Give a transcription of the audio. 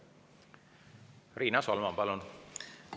Riina Solman, palun!